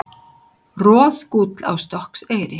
Roðgúll á Stokkseyri.